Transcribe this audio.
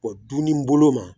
O dunni bolo ma